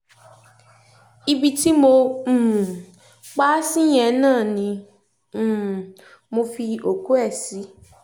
ibi tí mo um pa á sí yẹn náà ni um mo fi òkú ẹ̀ sí